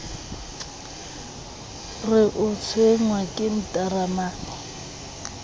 re o tshwenngwa ke ntaramane